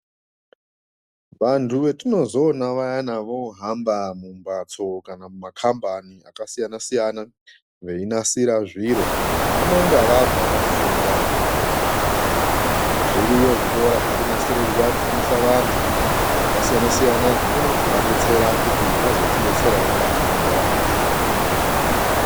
Vantu vatinozoona vayani vamumbatso kana mumakambani akasiyana siyana veinasira zviro vanonga vabva vafunda zviriyo zvikora zvakanasirwa vantu zvakasiyana siyana zvinokona kuzovadetsera kuti pamberi pendaramo dzedu.